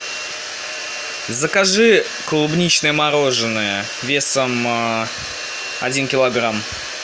закажи клубничное мороженое весом один килограмм